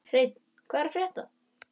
Hreinn, hvað er að frétta?